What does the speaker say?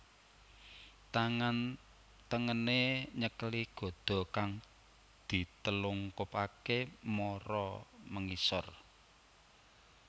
Tangan tengené nyekeli gada kang ditelungkupaké mara mengisor